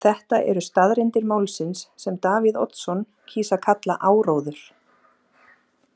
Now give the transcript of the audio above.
Þetta eru staðreyndir málsins sem Davíð Oddsson kýs að kalla áróður.